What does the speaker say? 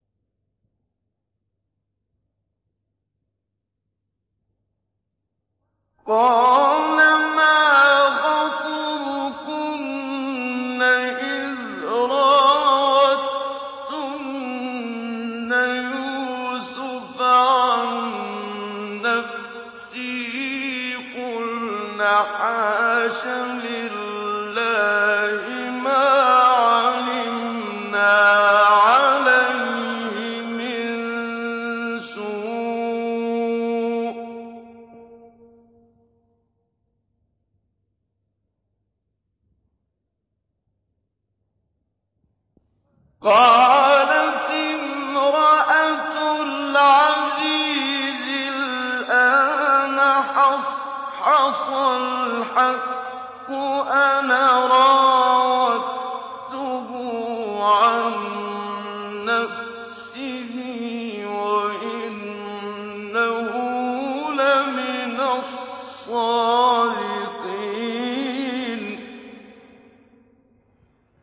قَالَ مَا خَطْبُكُنَّ إِذْ رَاوَدتُّنَّ يُوسُفَ عَن نَّفْسِهِ ۚ قُلْنَ حَاشَ لِلَّهِ مَا عَلِمْنَا عَلَيْهِ مِن سُوءٍ ۚ قَالَتِ امْرَأَتُ الْعَزِيزِ الْآنَ حَصْحَصَ الْحَقُّ أَنَا رَاوَدتُّهُ عَن نَّفْسِهِ وَإِنَّهُ لَمِنَ الصَّادِقِينَ